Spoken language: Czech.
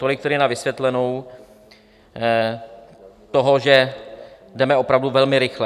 Tolik tedy na vysvětlenou toho, že jdeme opravdu velmi rychle.